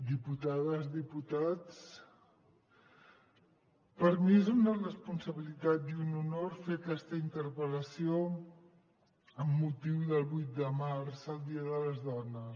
diputades diputats per a mi és una responsabilitat i un honor fer aquesta interpel·lació amb motiu del vuit de març el dia de les dones